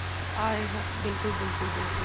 ਆਏਗਾ ਬਿਲਕੁਲ ਬਿਲਕੁਲ ਬਿਲਕੁਲ